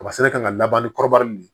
Kaba sɛnɛ ka laban ni kɔrɔbɔrɔ nun ye